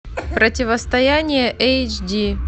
противостояние эйч ди